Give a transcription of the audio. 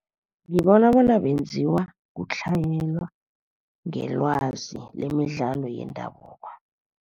Ngibona bona benziwa kutlhayelwa ngelwazi lemidlalo yendabuko.